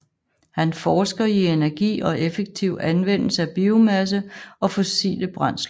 Han forsker i energi og effektiv anvendelse af biomasse og fossile brændsler